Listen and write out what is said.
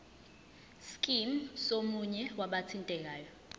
scheme somunye wabathintekayo